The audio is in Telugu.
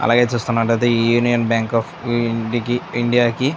అలాగే చూస్తున్నట్టయితే యూనియన్ బ్యాంక్ ఆఫ్ ఇండియా కి --